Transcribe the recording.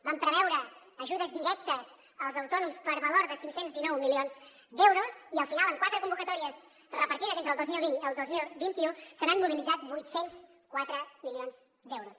vam preveure ajudes directes als autònoms per valor de cinc cents i dinou milions d’euros i al final amb quatre convocatòries repartides entre el dos mil vint i el dos mil vint u s’han mobilitzat vuit cents i quatre milions d’euros